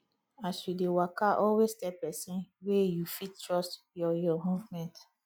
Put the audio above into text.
as you de waka always tell persin wey you fit trust your your movement